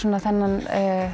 þennan